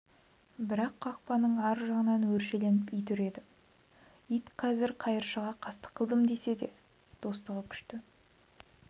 бірақ қақпаның ар жағынан өршеленіп ит үреді ит қазір қайыршыға қастық қылдым десе де достығы күшті